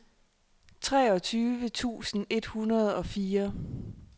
treogtyve tusind et hundrede og fire